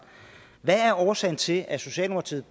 hvad er årsagen til at socialdemokratiet